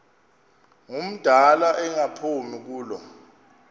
ngumdala engaphumi kulo